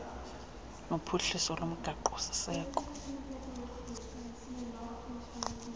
nophuhliso lomgaqo siseko